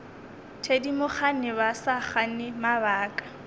thedimogane ba sa gane mabaka